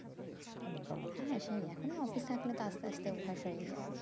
হ্যাঁ সেই এখন office থাকলে তো আস্তে আস্তে অভ্যাস হয়ে যাই